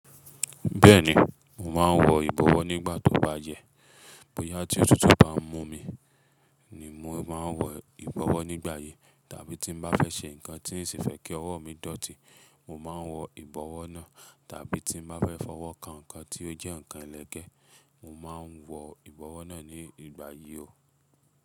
Bẹ́ẹ̀ni, mò máa ń wọ ìbọ̀wọ́ nígbà tó bá yẹ. Bóyá tí òtútù bá ń mú mi, ni mò máa ń wọ ìbọ̀wọ́ nígbà yen, tàbí tí n mo bá fẹ́ ṣe nǹkan tí ń ṣi fẹ́ kí ọwọ́ mi dọ̀tí, mò máa ń wọ ìbọ̀wọ́ náà, tàbí tí mo bá fẹ́ fọwọ́ kan nǹkan tí ó jẹ́ nǹkan ẹlẹgẹ́, mò máa ń wọ ìbọ̀wọ́ náà nígbà yí o.